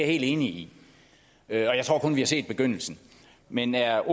helt enig i og jeg tror kun at vi har set begyndelsen men er